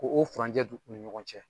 Ko o furanjɛ dun u ni ɲɔgɔn cɛ.